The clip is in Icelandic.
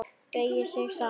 Beygir sig saman.